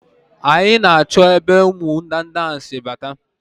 Anyị na-achọ ebe ụmụ ndanda ahụ si abata.